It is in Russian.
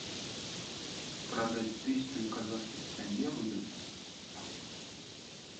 продать тысячу казахских тенге выгодно